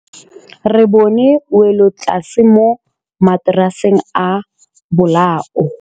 Re bone wêlôtlasê mo mataraseng a bolaô.